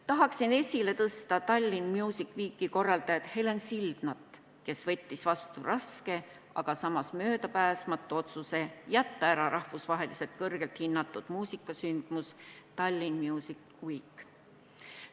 Tahaksin esile tõsta Tallinn Music Weeki korraldajat Helen Sildnat, kes võttis vastu raske, aga möödapääsmatu otsuse jätta ära rahvusvaheliselt väga hinnatud muusikasündmus Tallinn Music Week.